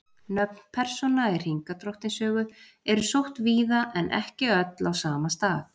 Nöfn persóna í Hringadróttinssögu eru sótt víða en ekki öll á sama stað.